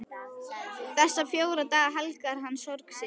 Þessa fjóra daga helgar hann sorg sinni.